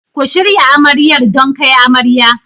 Ku shirya Amaryar don kai amarya.